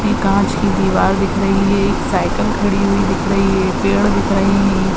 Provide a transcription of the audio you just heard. ये काँच की दीवार दिख रही है। एक साइकिल खड़ी हुई दिख रही है। पेड़ दिख रहे हैं।